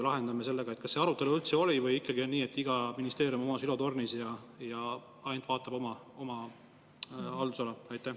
Kas see arutelu üldse oli või ikkagi on nii, et iga ministeerium on oma silotornis ja vaatab ainult oma haldusala?